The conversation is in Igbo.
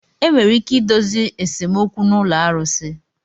Enwere ike idozi esemokwu na ụlọ arusi.